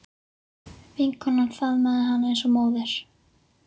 Vinkonan faðmaði hana eins og móðir.